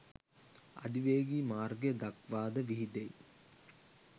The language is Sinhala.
අධිවේගී මාර්ගය දක්වා ද විහිදෙයි